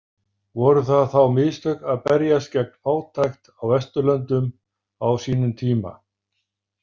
Voru það þá mistök að berjast gegn fátækt á Vesturlöndum á sínum tíma?